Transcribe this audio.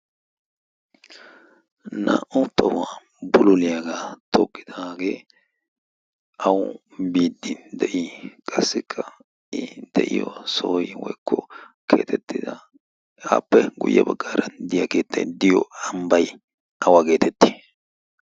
naa'u tohuwaa buloliyaagaa tookidaaagee awu biiddi de'ii? qassikka i de'iyo sooi woykko keatettida aappe guyye baggaara diyaa keexxai diyo ambbai awa' geetetti?